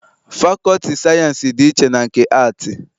Fakọlti sayiensị dị iche na nke aatị.